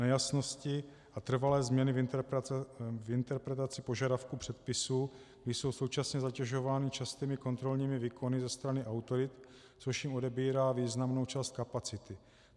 Nejasnosti a trvalé změna v interpretaci požadavků předpisů, kdy jsou současně zatěžovány častými kontrolními výkony ze strany autorit, což jim odebírá významnou část kapacity.